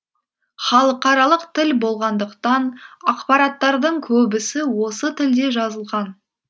халықаралық тіл болғандықтан ақпараттардың көбісі осы тілде жазылған